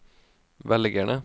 velgerne